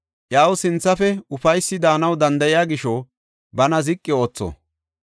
Iyaw sinthafe ufaysi daanaw danda7iya gisho bana ziqi ootho.